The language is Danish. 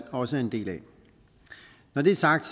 også er en del af når det er sagt